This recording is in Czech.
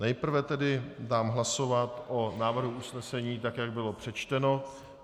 Nejprve tedy dám hlasovat o návrhu usnesení, tak jak bylo přečteno.